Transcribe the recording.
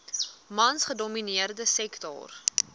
mans gedomineerde sektor